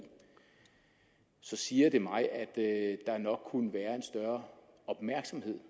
så siger det mig at der nok kunne være en større opmærksomhed